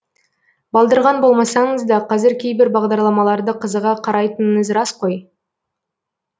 балдырған болмасаңыз да қазір кейбір бағдарламаларды қызыға қарайтыныңыз рас қой